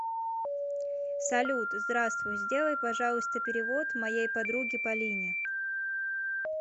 салют здравствуй сделай пожалуйста перевод моей подруге полине